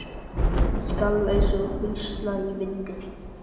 Skalf eins og hrísla í vindi.